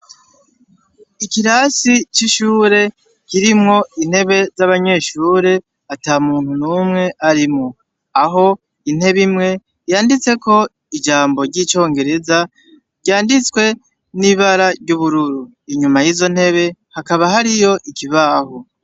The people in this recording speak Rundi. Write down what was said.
Ikirasi c'ishure kirimwo intebe z'abanyeshure ata muntu n'umwe arimwo aho intebe imwe yanditse ko ijambo ry'icongereza ryanditswe n'ibara ry'ubururu inyuma y'izo ntebe hakaba hariyo ikibahu.